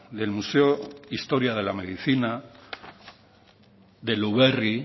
del museo historia de la medicina de luberri